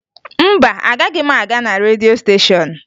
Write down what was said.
Mba, agaghị m aga na redio stéshọ̀n